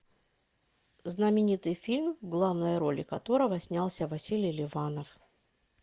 знаменитый фильм в главной роли которого снялся василий ливанов